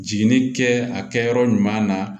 Jiginni kɛ a kɛyɔrɔ ɲuman na